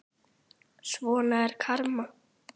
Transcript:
Svona er karma.